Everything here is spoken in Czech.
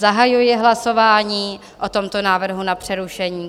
Zahajuji hlasování o tomto návrhu na přerušení.